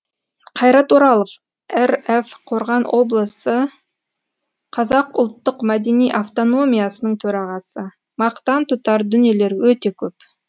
қайрат оралов рф қорған облысы қазақ ұлттық мәдени автономиясының төрағасы мақтан тұтар дүниелер өте көп